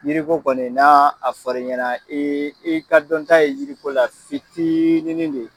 Yiri ko kɔni n'a fɔra i ɲɛna i, i ka dɔn ta ye yiri ko la fitinin de ye.